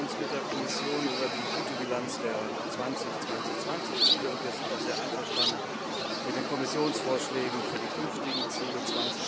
Wir freuen uns mit der Kommission über die gute Bilanz der 2020 Ziele, und wir sind auch sehr einverstanden mit den Kommissionsvorschlägen für die künftigen Ziele für